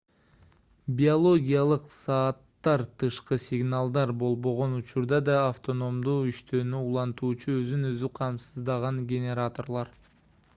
биологиялык сааттар тышкы сигналдар болбогон учурда да автономдуу иштөөнү улантуучу өзүн өзү камсыздаган генераторлор